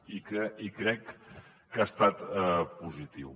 i crec que ha estat positiu